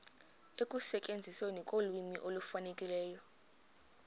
ekusetyenzisweni kolwimi olufanelekileyo